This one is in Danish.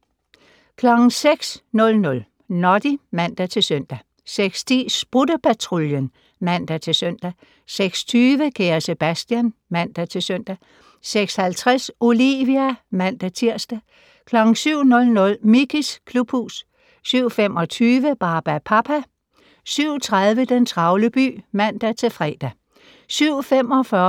06:00: Noddy (man-søn) 06:10: Sprutte-Patruljen (man-søn) 06:20: Kære Sebastian (man-søn) 06:50: Olivia (man-tir) 07:00: Mickeys klubhus 07:25: Barbapapa 07:30: Den travle by (man-fre)